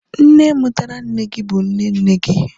nne mutara nne gi, bu nne nne gi